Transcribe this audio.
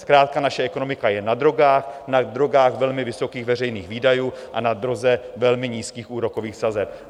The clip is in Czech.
Zkrátka naše ekonomika je na drogách, na drogách velmi vysokých veřejných výdajů a na droze velmi nízkých úrokových sazeb.